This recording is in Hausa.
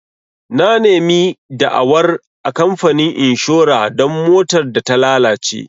Na nemi da'awar a kamfanin inshora don motar da ta lalace.